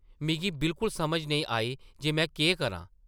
मिगी बिल्कुल समझ नेईं आई जे में केह् करां ।